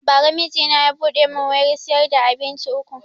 Ba ra mijina ya buɗe mun wurin siyar da abinci uku